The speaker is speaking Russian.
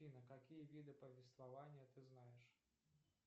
афина какие виды повествования ты знаешь